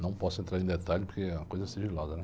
Não posso entrar em detalhes porque é uma coisa sigilosa, né?